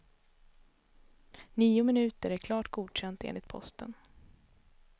Nio minuter är klart godkänt enligt posten.